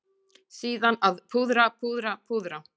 Síðan að púðra, púðra, púðra.